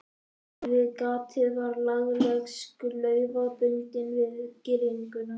Rétt við gatið var lagleg slaufa bundin við girðinguna.